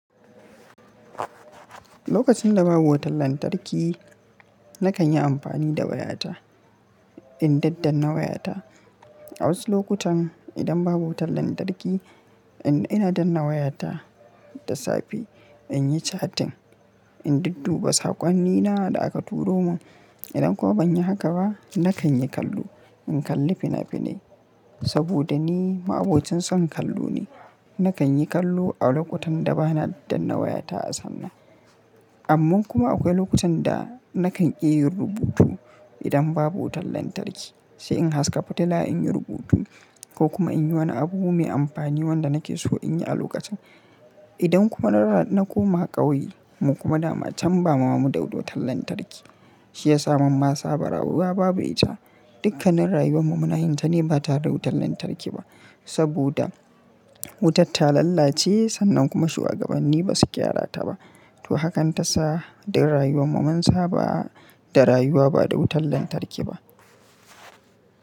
Lokacin da babu wutar lantarki, nakan yi amfani da wayata, in daddanna wayata. A wasu lokutan idan babu wutar lantarki, ina danna wayata da safe in yi catin, in dudduba saƙonnina da aka turo mun. Idan kuma ban yi haka ba, nakan yi kallo, in kalli fina-finai saboda ni ma'abocin son kallo ne. Nakan yi kallo a lokutan da bana danna wayata a sannan. Amman kuma akwai lokutan da nakan ƙi yin rubutu idan babu wutar lantarki, shi in haska fitila in yi rubutu ko kuma in yi wani abu mai amfani wanda nake so in yi a lokacin. Idan kuma na koma ƙauye mu kuma da ma can bama muda wutar lantarki, shi ya sa ma mun ma saba rayuwa babu ita. Dukkanin rayuwar mu muna yin ta ne ba tare da wutar lantarki ba saboda wutar ta lallace sannan kuma shuwagabanni ba su gyara ta ba. To hakan ta sa duk rayuwar mu mun sa ba da rayuwa ba da wutar lantarki ba.